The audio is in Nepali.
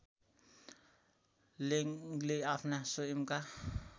लेङ्गले आफ्ना स्वयंका